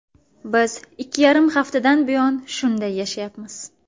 Biz ikki yarim haftadan buyon shunday yashayapmiz.